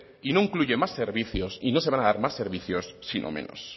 y no incluye más servicios y no se van a dar más servicios sino menos